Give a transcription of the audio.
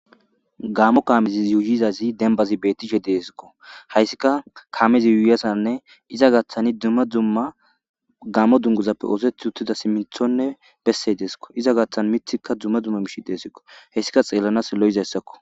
Gaamo kaamezi yuyidzaydzi dembazi beetishe de'esko hayssikka kaamezi yuyiyassanne iza gaaththani dumma dumma gaamo dunguzappe ooththeti uttida siminthonne bessey de'esko iza gaaththan miththikka dumma dumma miishi deeseko hessika xeelanas lo'izayssakko.